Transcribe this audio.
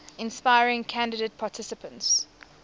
inspiring candidate participants